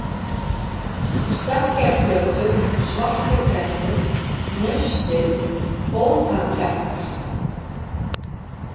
Stekkjarflötur, Svarti-klettur, Naustið, Bótarklettar